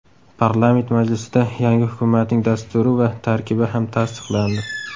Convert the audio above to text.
Parlament majlisida yangi hukumatning dasturi va tarkibi ham tasdiqlandi.